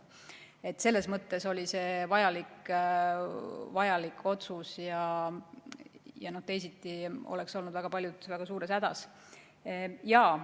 Nii et selles mõttes oli see vajalik otsus, teisiti oleks väga paljud olnud väga suures hädas.